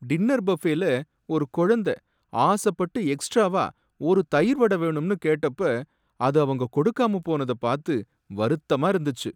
Dinner பஃபேல ஒரு குழந்தை ஆசப்பட்டு எக்ஸ்ட்ராவா ஒரு தயிர் வட வேணும்னு கேட்டப்ப அது அவங்க கொடுக்காம போனதை பார்த்து வருத்தமா இருந்துச்சு.